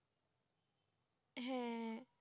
হ্যাঁ